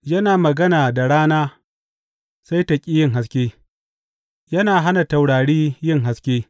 Yana magana da rana sai ta ƙi yin haske; yana hana taurari yin haske.